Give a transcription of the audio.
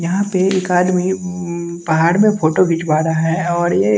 यहाँ पे एक आदमी अम्म पहाड़ में फोटो खिंचवा रहा है और ये--